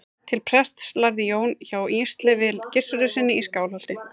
til prests lærði jón hjá ísleifi gissurarsyni í skálholti